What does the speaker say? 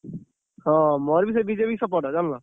ହଁ ମୋର ବି ସେଇ BJP କୁ support ଜାଣିଲ।